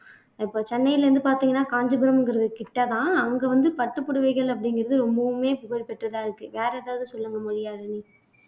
இப்ப சென்னையில இருந்து பாத்தீங்கன்னா காஞ்சிபுரம்ங்கிறது கிட்டதான் அங்க வந்து பட்டுப்புடவைகள் அப்படிங்கிறது ரொம்பவுமே புகழ் பெற்றதா இருக்கு வேற எதாவது சொல்லுங்க மொழியாழினி